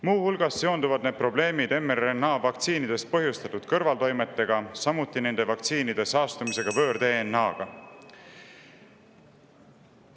Muu hulgas on need probleemid seotud mRNA vaktsiinidest põhjustatud kõrvaltoimetega, samuti nende vaktsiinide saastumisega võõr-DNA-ga.